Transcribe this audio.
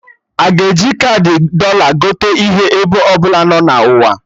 Aga e ji kaadị Dọla gote ihe ebe ọbụla nọ na ụwa